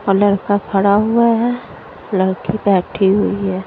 और लड़का खड़ा हुआ है लड़की बैठी हुई है।